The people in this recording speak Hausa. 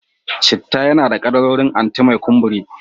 Citta yana da kaddarorin anti-mai kumburi.